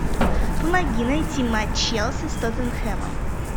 помоги найти матч челси с тоттенхэмом